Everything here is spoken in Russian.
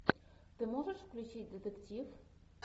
ты можешь включить детектив